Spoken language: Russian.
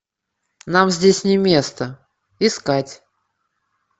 нам здесь не место искать